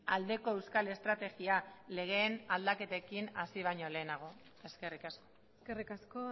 aldeko euskal estrategia legeen aldaketekin hasi baino lehenago eskerrik asko eskerrik asko